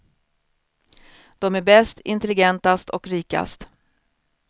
De är bäst, intelligentast och rikast.